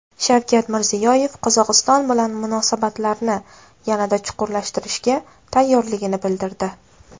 Shavkat Mirziyoyev Qozog‘iston bilan munosabatlarni yanada chuqurlashtirishga tayyorligini bildirdi.